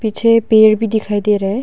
पीछे पेड़ भी दिखाई दे रहा है।